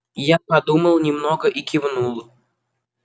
я подумал немного и кивнул